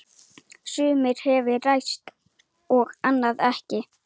Sumt hefur ræst og annað ekki.